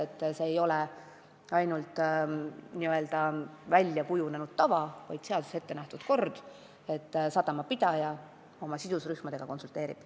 Edaspidi see ei ole ainult väljakujunenud tava, vaid seaduses ettenähtud kord, et sadamapidaja oma sidusrühmadega konsulteerib.